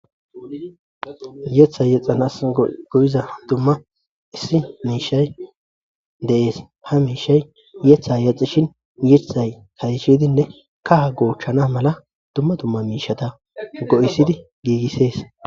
yetha yexxanas go7iza dumma issi miishay deees ha miishay yetha yaxxishin yiththay kayishidinne kaha goochchana mala dumma dumma miishata go7isidi giigissees